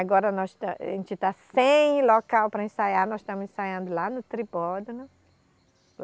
Agora nós tá, a gente está sem local para ensaiar, nós estamos ensaiando lá no Tribódono.